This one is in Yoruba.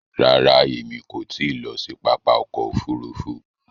Ràrà, èmi kò ti lọ sí pápá ọkọ̀ òfurufú